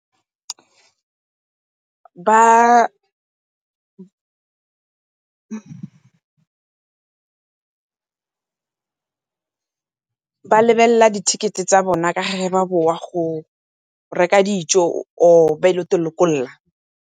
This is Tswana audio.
Ba lebelela di-ticket tsa bona ga ba boa go reka dijo or ba ye lokolola.